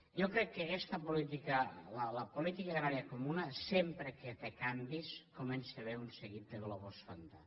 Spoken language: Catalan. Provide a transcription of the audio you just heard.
jo crec que en aguesta política la política agrària comuna sempre que té canvis hi comença a haver un seguit de globus sonda